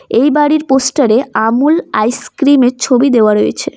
এই বাড়ির পোস্টার এ আমুল আইস ক্রিম -এর ছবি দেওয়া রয়েছে।